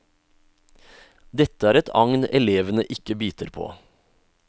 Dette er et agn elevene ikke biter på.